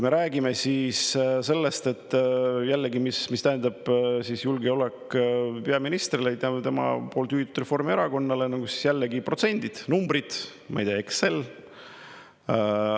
Räägime sellest, mis tähendab julgeolek peaministrile, tema juhitud Reformierakonnale: jällegi protsendid, numbrid, ma ei tea, Excel.